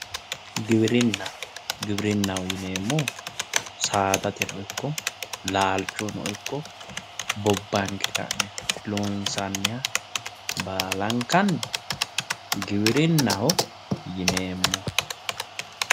Giwirinna, giwirinnaho yineemmohu saadateno ikko laalchono ikko bobbanke loonsanniha baallankanni giwirinnaho yineemmohu saadateno laalcho.